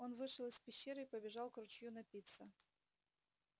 он вышел из пещеры и побежал к ручью напиться